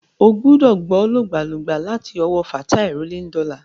Ó gbúdọ̀ gbọ́ lògbàlògbà láti ọwọ́ Fatai Rolling Dollar.